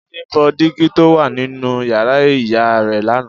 Jídé fọ́ dígí to wá nínú yàrá ìyá rẹ̀ lánàá